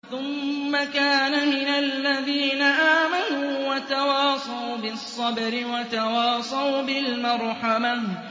ثُمَّ كَانَ مِنَ الَّذِينَ آمَنُوا وَتَوَاصَوْا بِالصَّبْرِ وَتَوَاصَوْا بِالْمَرْحَمَةِ